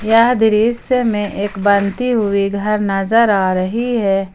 यह दृस्य में एक बनती हुई घर नजर आ रही है ।